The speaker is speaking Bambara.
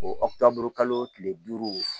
O kalo tile duuru